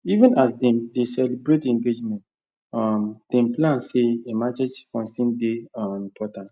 even as dem dey celebrate engagement um dem plan say emergency fund still dey um important